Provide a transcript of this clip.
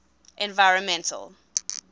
environmental